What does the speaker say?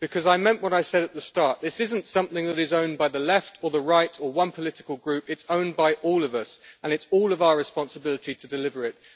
Because I meant what I said at the start this isn't something that is owned by the left or the right one political group, it is owned by all of us, and it is all of our responsibility to deliver it.